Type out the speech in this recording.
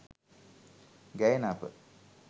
ගැයෙන අප